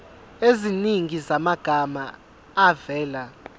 eziningi zamagama avela